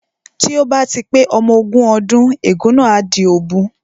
Tí ó bá ti pé ọmọ ogún ọdún ègún náà á di òbu